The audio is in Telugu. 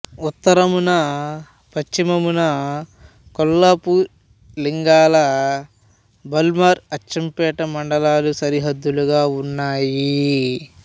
ఉత్తరమున పశ్చిమమున కొల్లాపూర్ లింగాల బల్మూర్ అచ్చంపేట మండలాలు సరిహద్దులుగా ఉన్నాయి